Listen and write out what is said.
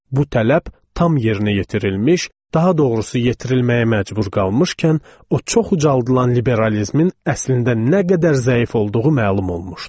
Bu tələb tam yerinə yetirilmiş, daha doğrusu yerinə yetirilməyə məcbur qalmışkən, o çox ucaldılan liberalizmin əslində nə qədər zəif olduğu məlum olmuşdu.